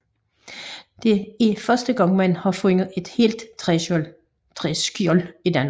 Det er første gang man har fundet et helt træskjold i Danmark